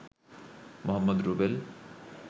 Mohammad Rubel